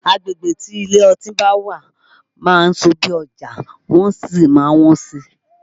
Agbegbe tí ilé ọtí bá wà máa ń sọ bí ọjà wọn ṣe máa wọ́n sí